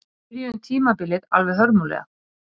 Við byrjuðum tímabilið alveg hörmulega